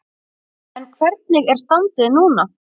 En hvernig er standið núna?